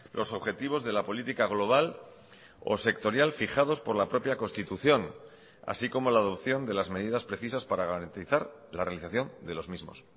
los objetivos de la política global o sectorial fijados por la propia constitución así como la adopción de las medidas precisas para garantizar la realización de los mismos